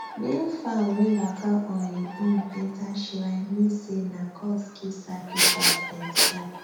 male fowl wey waka on hin own enter shrine mean say nah gods give sacrifice demsef